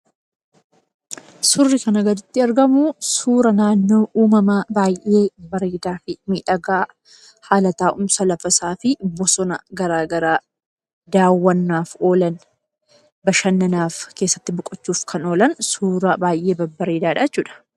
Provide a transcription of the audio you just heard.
Suurri kanaa gaditti argamu, suura uumamaa fi baay'ee miidhagaa, haala taa'umsa lafa isaa fi bosona garaagaraa daawwannaaf oolan, bashannanaaf keessatti boqochuuf kan oolan suuraa baay'ee babbareedaadha jechuudha.